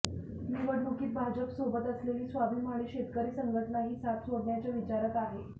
निवडणुकीत भाजपसोबत असलेली स्वाभिमानी शेतकरी संघटना ही साथ सोडण्याच्या विचारात आहे